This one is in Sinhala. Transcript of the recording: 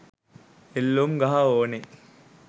එල්ලූම් ගහ ඕනේ